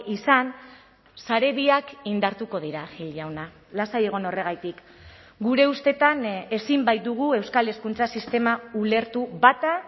izan sare biak indartuko dira gil jauna lasai egon horregatik gure ustetan ezin baitugu euskal hezkuntza sistema ulertu bata